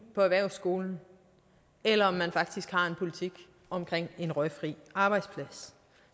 på erhvervsskolen eller om man faktisk har en politik omkring en røgfri arbejdsplads